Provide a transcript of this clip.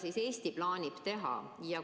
Mida Eesti plaanib teha?